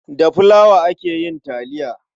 Da filawa ake yin taliya.